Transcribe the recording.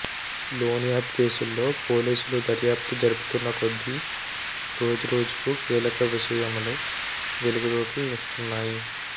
loan app కేసుల్లో పోలీసులు దర్యాప్తు జరుపుతున్న కొద్ది రోజురోజుకు కీలక విషయంలో వెలుగులోకి వస్తున్నాయి